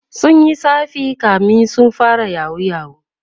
sunyi tsafi kamin su fara yahoo yahoo